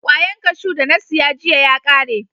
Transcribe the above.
Kwayan kashu da na siya jiya ya kare.